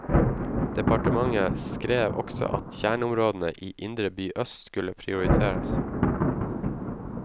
Departementet skrev også at kjerneområdene i indre by øst skulle prioriteres.